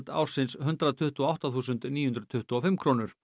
ársins hundrað tuttugu og átta þúsund níu hundruð tuttugu og fimm krónur